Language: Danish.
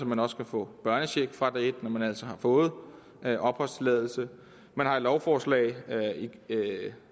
man også kan få børnecheck fra dag et når man altså har fået opholdstilladelse man har et lovforslag